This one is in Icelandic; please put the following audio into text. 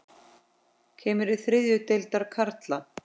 Kemur til þriðju deildar karla?